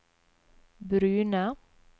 brune